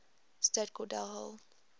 state cordell hull